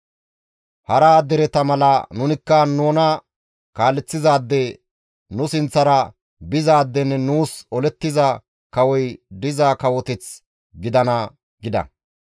Hara dereta mala nunikka nuna kaaleththizaade, nu sinththara bizaadenne nuus olettiza kawoy diza kawoteth gidana» gida.